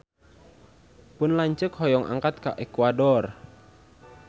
Pun lanceuk hoyong angkat ka Ekuador